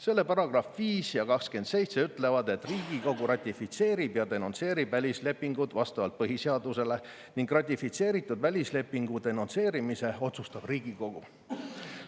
Selle §-d 5 ja 27 ja ütlevad, et Riigikogu ratifitseerib ja denonsseerib välislepingud vastavalt põhiseadusele ning ratifitseeritud välislepingu denonsseerimise otsustab Riigikogu.